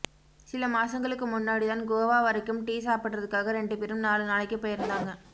சில மாசங்களுக்கு முன்னாடிதான் கோவா வரைக்கும் டீ சாப்பிடுறதுக்காக ரெண்டு பேரும் நாலு நாளைக்கு போயிருந்தாங்க